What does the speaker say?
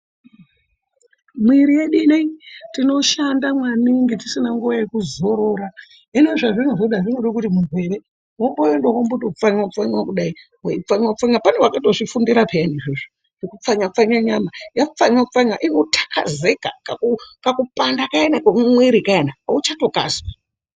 Mwiri yedu inei tinoshanda maningi tisina nguwa yekuzorora. Hino zvazvinozoda zvinoda kuti munhu ere womboenda wombotopfanywa pfanywa kudayi, weipfanywa. Pane vakatozvifundira zvekupfanya pfanya nyama. Yapfanywa pfanywa kudayi inothakazeka kakupanda kayani kemwiri kayani auchatokazwi.